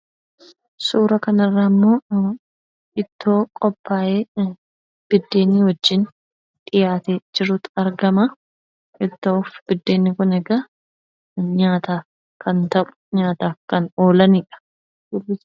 Suuraa kanarraa immoo ittoo qophaayee buddeena wajjin dhiyaatee jirutu argama. Ittoo fi buddeenni kun egaa nyaataaf kan ta'u nyaataaf kan oolanidha.